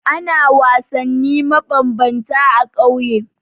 Ana wasanni mabambanta a ƙauye.